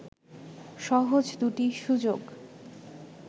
সহজ দুটি সুযোগ